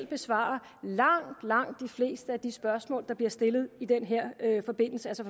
besvare langt langt de fleste af de spørgsmål der bliver stillet i den her forbindelse altså